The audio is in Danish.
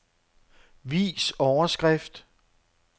Vis overskrift.